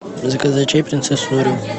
заказать чай принцесса нури